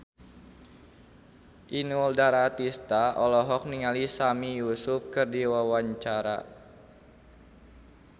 Inul Daratista olohok ningali Sami Yusuf keur diwawancara